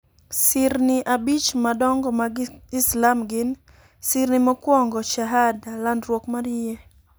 Sirni abich madongo mag Islam gin: Sirni mokwongo: Shahada (Landruok mar Yie).